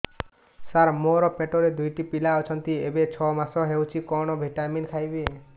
ସାର ମୋର ପେଟରେ ଦୁଇଟି ପିଲା ଅଛନ୍ତି ଏବେ ଛଅ ମାସ ହେଇଛି କଣ ଭିଟାମିନ ଖାଇବି